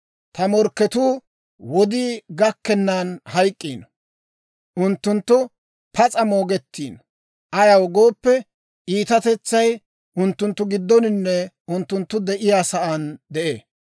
Ta morkketuu wodii gakkennan hayk'k'ino; unttunttu pas'a moogettino. Ayaw gooppe, iitatetsay unttunttu giddoninne unttunttu de'iyaa saan de'ee.